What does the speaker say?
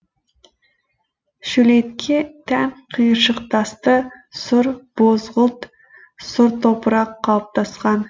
шөлейтке тән қиыршықтасты сұр бозғылт сұр топырақ қалыптасқан